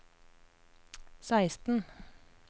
seksten